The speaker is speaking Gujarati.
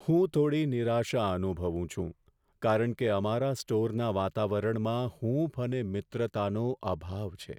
હું થોડી નિરાશા અનુભવું છું કારણ કે અમારા સ્ટોરના વાતાવરણમાં હૂંફ અને મિત્રતાનો અભાવ છે.